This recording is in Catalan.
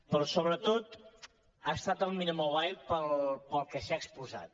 però sobretot ha estat el millor mobile pel que s’hi ha exposat